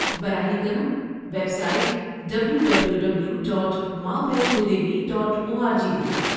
براہ کرم website W W W dot Maavaishnodevi dot O R G دیکھیں